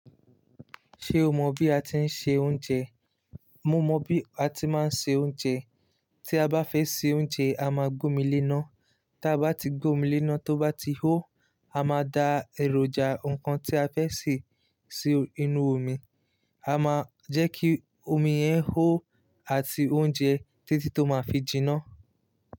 Ṣé o mọ bí a ti ń se oúnjẹ? Mo mọ bí a ti máa ń se oúnjẹ. Tí a bá fẹ́ se oúnjẹ, a máa gomi léná. Tí a bá ti gbomi léná, tó bá ti hó, a máa da èròjà nǹkan tí a fẹ́ sè sí inú omi. A máa jẹ́ kí omi yẹn hó àti oúnjẹ títí tó máa fi jiná.